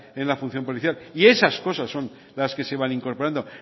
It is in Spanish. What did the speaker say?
en la función policial y esas cosas son las que se van incorporando